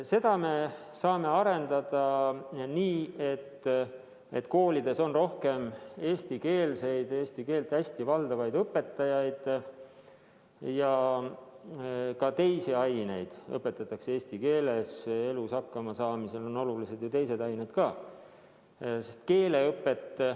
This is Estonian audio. Seda me saame arendada nii, et koolides on rohkem eestikeelseid, eesti keelt hästi valdavaid õpetajaid ja ka teisi aineid õpetatakse eesti keeles – elus hakkamasaamisel on ju olulised ka teised ained.